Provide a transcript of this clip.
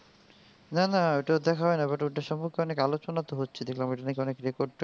না ঐটা দেখা হয় নাই but ওটা সম্পর্কে অনেক আলোচনা তো হচ্ছে দেখলাম. ঐটা নাকি অনেক record টেকার্ড ভেঙেছে.